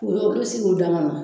Ola olu bi sigi u dama na